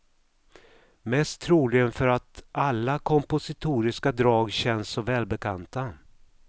Mest troligen för att alla kompositoriska drag känns så välbekanta.